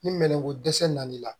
Ni minɛn ko dɛsɛ nana i la